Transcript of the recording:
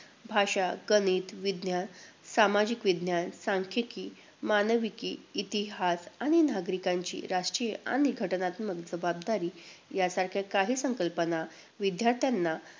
भाषा, गणित, विज्ञान, सामाजिक विज्ञान, सांख्यिकी, मानविकी, इतिहास आणि नागरिकांची राष्ट्रीय आणि घटनात्मक जबाबदारी यासारख्या काही संकल्पना विद्यार्थ्यांना